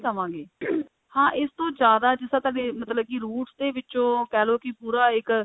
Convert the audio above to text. ਨਹੀਂ ਕਵਾਂਗੇ ਹਾਂ ਇਸ ਤੋਂ ਜਿਆਦਾ ਜਿੱਦਾਂ ਤੁਹਾਡੀ ਮਤਲਬ ਕਿ roots ਦੇ ਵਿੱਚੋ ਕਹਿ ਲੋ ਕਿ ਪੂਰਾ ਇੱਕ